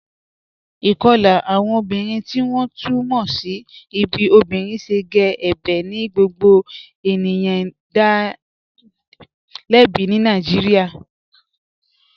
Ikọla awọn obìnrin tí wọn tú mọ́ sí bí obìnrin ṣẹ̀ gé ẹ̀bẹ̀ ni gbogbo ènìyàn dá lẹ̀bí ní Nàìjíríà.